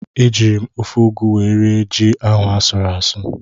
Ejiri m ofe ụgụ wee rie ji ahụ asụrụ asụ.